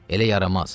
Elə yaramaz.